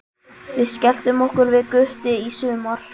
Við skelltum okkur við Gutti í sumar.